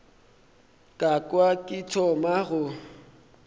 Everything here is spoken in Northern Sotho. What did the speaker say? ka kwa ke thoma go